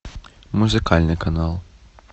музыкальный канал